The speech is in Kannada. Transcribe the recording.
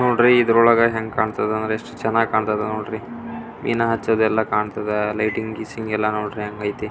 ನೋಡ್ರಿ ಇದ್ರೋಳಗೆ ಹೆಂಗ್ ಕಾಂತತೆ ಅಂದ್ರೆ ಎಷ್ಟು ಚೆನ್ನಾಗಿ ಕಾಂತದ ನೋಡ್ರಿ ಏನ್ ಹಚ್ಚದು ಎಲ್ಲ ಕಾಂತದ ಲೈಟಿಂಗ್ ಗೀಸಿಂಗ್ ಎಲ್ಲ ನೋಡ್ರಿ ಹ್ಯಾಂಗ ಐತೆ --